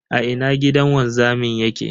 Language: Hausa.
A ina gidan wanzamin yake?